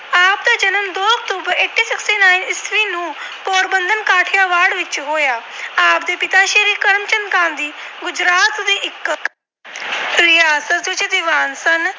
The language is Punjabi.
ਵਿੱਚ ਹੋਇਆ। ਆਪ ਦੇ ਪਿਤਾ ਸ੍ਰੀ ਕਰਮਚੰਦ ਗਾਂਧੀ ਗੁਜਰਾਤ ਦੇ ਇੱਕ ਰਿਆਸਤੀ ਦੀਵਾਨ ਸਨ।